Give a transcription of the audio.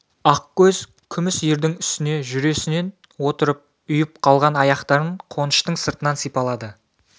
ақкөз күміс ердің үстіне жүресінен отырып ұйып қалған аяқтарын қоныштың сыртынан сипалады